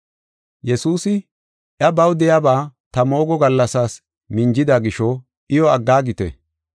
Yesuusi, “Iya baw de7iyaba ta moogo gallasaas minjida gisho iyo aggaagite.